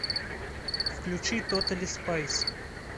включи тотали спайс